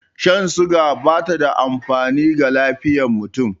Shan suga bata da amfani ga lafiyar mutum